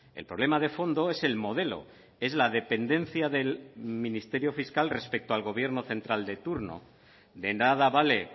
el problema de fondo es el modelo es la dependencia del ministerio fiscal respecto al gobierno central de turno de nada vale